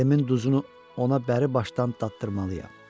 Əlimin duzunu ona bəribaşdan dadıdırmalıyam.